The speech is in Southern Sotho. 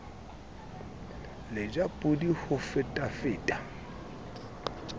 le ja podi ho fetafeta